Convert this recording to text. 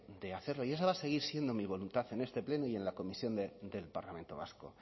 de hacerlo y esa va a seguir siendo mi voluntad en este pleno y en la comisión del parlamento vasco